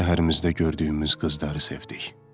Öz şəhərimizdə gördüyümüz qızları sevdik.